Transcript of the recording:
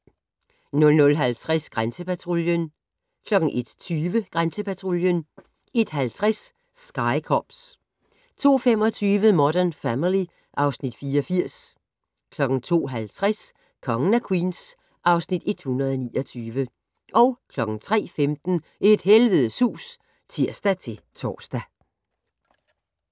00:50: Grænsepatruljen 01:20: Grænsepatruljen 01:50: Sky Cops 02:25: Modern Family (Afs. 84) 02:50: Kongen af Queens (Afs. 129) 03:15: Et helvedes hus (tir-tor)